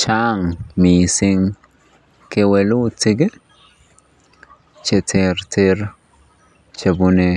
Chang mising kewelutik cheterter chebune